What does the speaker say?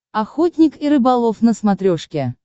охотник и рыболов на смотрешке